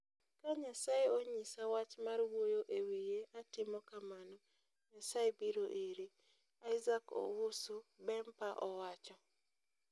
Ka nyasaye onyisa wach mar wuoyo e wiye atimo kamano, nyasaye biro iri, "Isaac Owusu Bempah owacho.